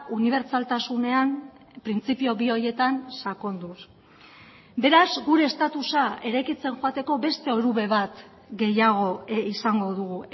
unibertsaltasunean printzipio bi horietan sakonduz beraz gure estatusa eraikitzen joateko beste orube bat gehiago izango dugu